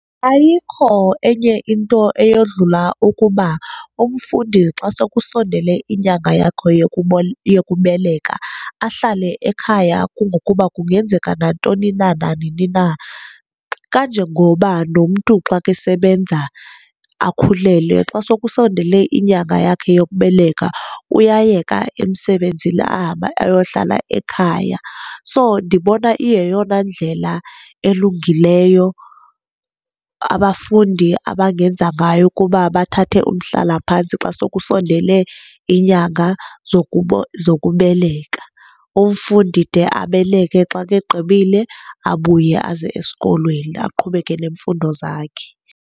Ayikho enye into eyodlula ukuba umfundi xa sokusondele iinyanga yakho yokubeleka ahlale ekhaya kungokuba kungenzeka nantoni na nanini na. Kanjengoba nomntu xa kesebenza akhulelwe, xa sokusondele inyanga yakhe yokubeleka uyayeka emsebenzini ahambe ayohlala ekhaya. So, ndibona iyeyona ndlela elungileyo abafundi abangenza ngayo kuba bathathe umhlalaphantsi xa sokusondele inyanga zokubeleka umfundi de abeleke. Xa kegqibile abuye aze esikolweni aqhubeke nemfundo zakhe.